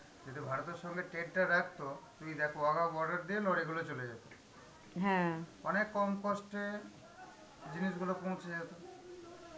যদি ভারতের সঙ্গে trade টা রাখতো, তুমি দেখো ওর এগুলো চলে যেত অনেক কম cost এ জিনিসগুলো পৌঁছে যেত.